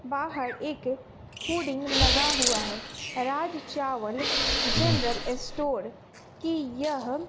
बाहर एक होडिंग लगा हुआ है राज चावला जनरल स्टोर की यह--